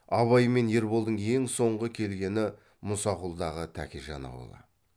абай мен ерболдың ең соңғы келгені мұсақұлдағы тәкежан аулы